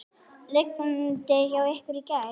Rigndi hjá ykkur í gær?